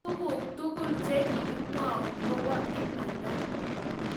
Tuguk tugul chegakimwaun koba imanda